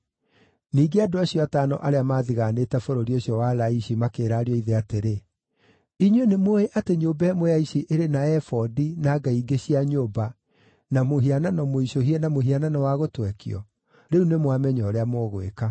Ningĩ andũ acio atano arĩa maathigaanĩte bũrũri ũcio wa Laishi makĩĩra ariũ a ithe atĩrĩ, “Inyuĩ nĩmũũĩ atĩ nyũmba ĩmwe ya ici ĩrĩ na ebodi, na ngai ingĩ cia nyũmba, na mũhianano mũicũhie, na mũhianano wa gũtwekio? Rĩu nĩmwamenya ũrĩa mũgwĩka.”